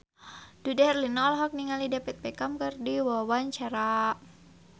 Dude Herlino olohok ningali David Beckham keur diwawancara